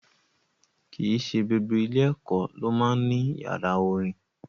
Kì í ṣe gbogbo ilé-ẹ̀kọ́ ló máa ń ní yàrá orin.